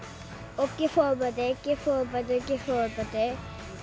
og gef fóðurbæti gef fóðurbæti gef fóðurbæti